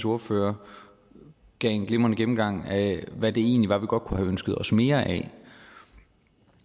ordfører gav en glimrende gennemgang af hvad det egentlig var vi godt kunne have ønsket os mere af